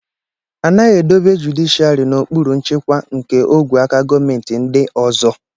A naghị edobe jụdịshịàrị n'okpuru nchịkwa nke ogwe aka gọọmentị ndị ọzọ